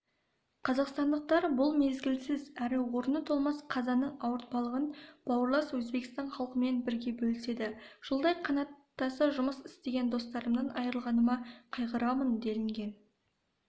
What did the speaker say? қазақстандықтар бұл мезгілсіз әрі орны толмас қазаның ауыртпалығын бауырлас өзбекстан халқымен бірге бөліседі жылдай қанаттаса жұмыс істеген досымнан айрылғаныма қайғырамын делінген